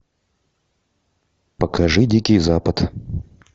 покажи дикий запад